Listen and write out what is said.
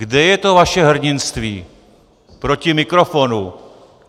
Kde je to vaše hrdinství proti mikrofonu?